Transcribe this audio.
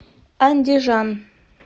андижан